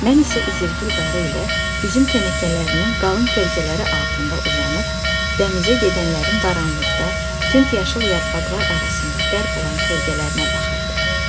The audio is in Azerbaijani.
Mən isə İzerqil qarı ilə üzüm tənəkələrinin qalın kölgələri altında uzanıb, dənizə gedənlərin qaranlıqda tünd yaşıl yarpaqlar arasında qərq olan kölgələrinə baxırdıq.